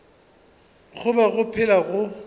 go be go phela go